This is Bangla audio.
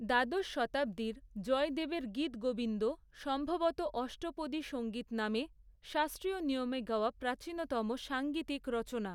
দ্বাদশ শতাব্দীর, জয়দেবের 'গীতগোবিন্দ' সম্ভবত অষ্টপদী সঙ্গীত নামে, শাস্ত্রীয় নিয়মে গাওয়া প্রাচীনতম সাঙ্গীতিক রচনা।